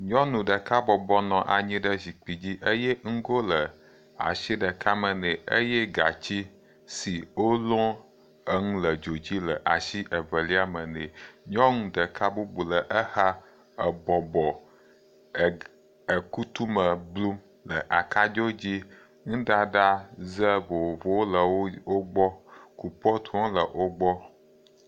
Nyɔnu ɖeka bɔbɔnɔ anyi ɖe zikpui dzi eye nugo le asi ɖeka me nɛ eye gatsi si wolɔ eŋu le dzodzi le asi evelia me nɛ. Nyɔnu ɖeka bubu le exa ebɔbɔ eg ekutu me blum le akadzo dzi. Nuɖaɖa ze vovowo le wo gbɔ. Kupɔtuwo hã le wo gbɔ.